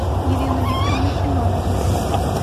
елену викторовну семенову